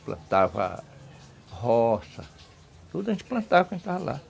plantava roça, tudo a gente plantava quando estava lá.